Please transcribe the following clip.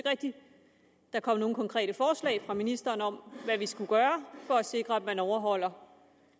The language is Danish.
rigtig der kom nogen konkrete forslag fra ministeren om hvad vi skulle gøre for at sikre at man overholder